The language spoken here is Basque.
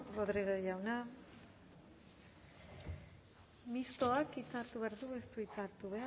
rodriguez jauna mistoak hitza hartu behar du ez du hitza hartu